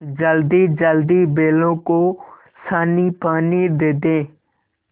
जल्दीजल्दी बैलों को सानीपानी दे दें